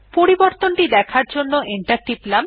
পরিবর্তন দেখার জন্য এন্টার টিপলাম